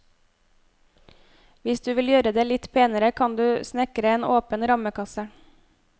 Hvis du vil gjøre det litt penere, kan du snekre en åpen rammekasse.